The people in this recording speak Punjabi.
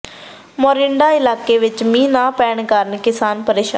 ਮੋਰਿੰਡਾ ਇਲਾਕੇ ਵਿਚ ਮੀਂਹ ਨਾ ਪੈਣ ਕਾਰਨ ਕਿਸਾਨ ਪ੍ਰੇਸ਼ਾਨ